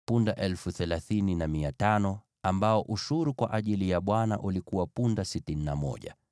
punda 30,500 ambao ushuru kwa ajili ya Bwana ulikuwa punda 61;